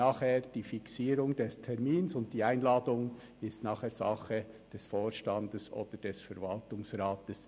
Die Fixierung des Termins und die Einladung sind dann aber Sache des Vorstands oder des Verwaltungsrats.